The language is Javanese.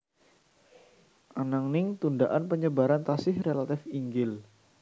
Ananging tundaan penyebaran tasih relatif inggil